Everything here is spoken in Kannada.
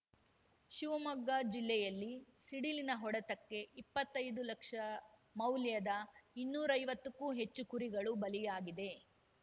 ಶಿವಮೊಗ್ಗ ಜಿಲ್ಲೆಯಲ್ಲಿ ಸಿಡಿಲಿನ ಹೊಡೆತಕ್ಕೆಇಪ್ಪತ್ತೈದು ಲಕ್ಷ ಮೌಲ್ಯದ ಇನ್ನೂರೈವತ್ತಕ್ಕೂ ಹೆಚ್ಚು ಕುರಿಗಳು ಬಲಿಯಾಗಿದೆ